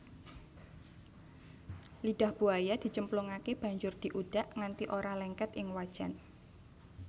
Lidah buaya dicemplungake banjur diudak nganti ora lengket ing wajan